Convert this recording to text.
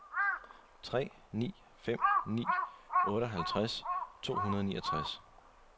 tre ni fem ni otteoghalvtreds to hundrede og niogtres